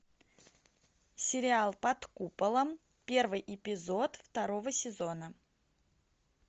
сериал под куполом первый эпизод второго сезона